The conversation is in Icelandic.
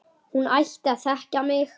Hún ætti að þekkja mig!